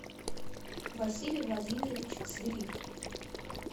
василий владимирович свирик